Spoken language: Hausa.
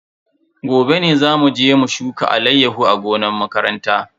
Gobe ne zamu je mu shuka alayyahu a gonan makaranta.